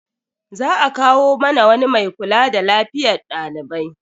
Za a kawo mana wani mai kula da lafiyar dalibai.